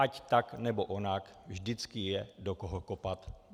Ať tak nebo onak, vždycky je do koho kopat.